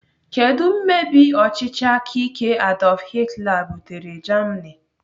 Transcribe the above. Kedụ mmebi ọchịchị aka ike Adolf Hitler butere Germany?